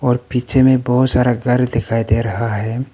और पीछे में बहुत सारा घर दिखाई दे रहा है।